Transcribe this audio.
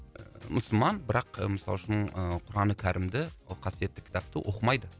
мұсылман бірақ ы мысал үшін ы құран кәрімді ол қасиетті кітапты оқымайды